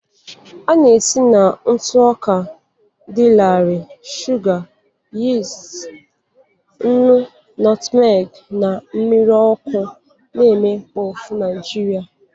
A na-esi na ntụ ọka dị larịị, shuga, yist, nnu, nutmeg na mmiri ọkụ na-eme puff Nigeria.